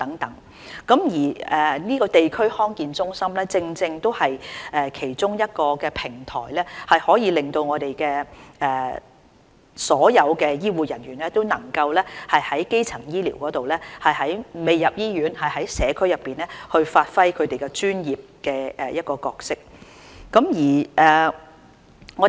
地區康健中心正正是其中一個平台，可以令所有醫護人員能夠參與基層醫療，當病人未入醫院而在社區時讓他們發揮其專業角色。